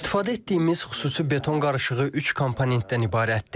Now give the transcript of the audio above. İstifadə etdiyimiz xüsusi beton qarışığı üç komponentdən ibarətdir.